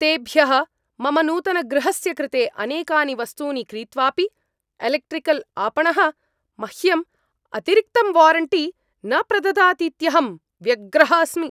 तेभ्यः मम नूतनगृहस्य कृते अनेकानि वस्तूनि क्रीत्वापि, एलेक्ट्रिकल् आपणः मह्यम् अतिरिक्तं वारण्टी न प्रददातीत्यहं व्यग्रः अस्मि।